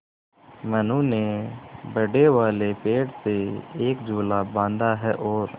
मनु ने बड़े वाले पेड़ से एक झूला बाँधा है और